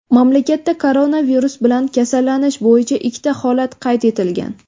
Mamlakatda koronavirus bilan kasallanish bo‘yicha ikkita holat qayd etilgan.